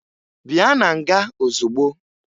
Bịa na nga ozugbo!